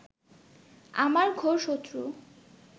আমার ঘোর শত্রু